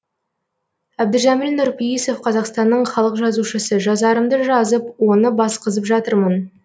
әбдіжәміл нұрпейісов қазақстанның халық жазушысы жазарымды жазып оны басқызып жатырмын